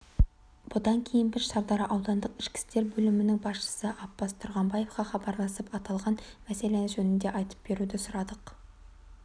бұдан кейін біз шардара аудандық ішкі істер бөлімінің басшысыаппаз тұрғанбаевқахабарласып аталған мәселе жөнінде айтып беруді сұрадық